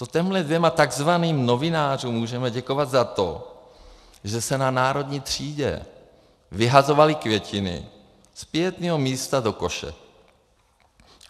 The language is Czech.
To těmhle dvěma takzvaným novinářům můžeme děkovat za to, že se na Národní třídě vyhazovaly květiny z pietního místa do koše.